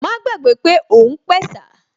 Má gbàgbé pé òun pẹ̀sà